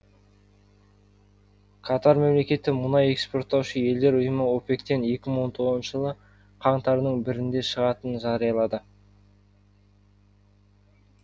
катар мемлекеті мұнай экспорттаушы елдер ұйымы опек тен екі мың он тоғызыншы жылы қаңтардың бірінде шығатынын жариялады